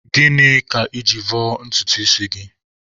Gịnị ka I ji vọọ ntutu isi gị?